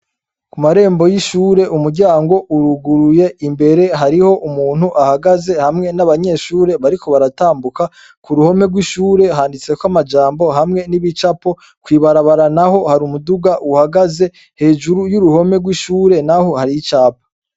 Ku marembo y'ishure, umuryango uruguruye, imbere hariho umuntu ahagaze hamwe n'abanyeshure bariko baratambuka. Ku ruhome rw'ishure handitseko amajambo hamwe n'ibicapo, kw'ibarabara naho hari umuduga uhagaze, hejuru y'uruhome rw'ishure naho hariho icapa.